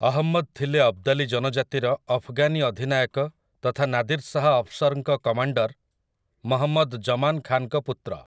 ଅହମ୍ମଦ୍ ଥିଲେ ଅବ୍ଦାଲୀ ଜନଜାତିର ଅଫ୍‌ଗାନି ଅଧିନାୟକ ତଥା ନାଦିର୍ ଶାହ୍ ଅଫ୍‌ଶର୍‌ଙ୍କ କମାଣ୍ଡର୍, ମହମ୍ମଦ୍ ଜମାନ୍ ଖାନ୍‌ଙ୍କ ପୁତ୍ର ।